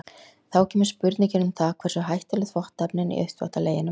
Þá kemur spurningin um það hversu hættuleg þvottaefnin í uppþvottaleginum eru.